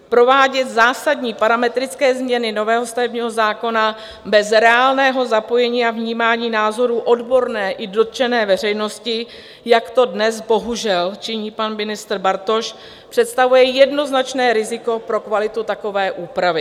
Provádět zásadní parametrické změny nového stavebního zákona bez reálného zapojení a vnímání názorů odborné i dotčené veřejnosti, jak to dnes bohužel činí pan ministr Bartoš, představuje jednoznačné riziko pro kvalitu takové úpravy.